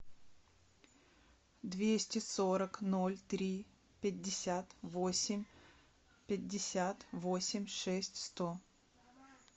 двести сорок ноль три пятьдесят восемь пятьдесят восемь шесть сто